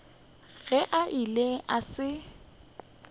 ge a ile a se